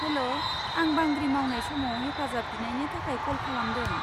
हेल', आं बांग्रि मावनाय समाव हेफाजाब बिनायनि थाखाय कल खालामदों।